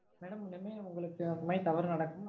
madam இனிமேல் உங்களுக்கு அந்த மாதிரி தவறு நடக்காது.